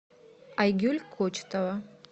айгуль кочетова